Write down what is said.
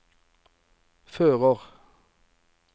fører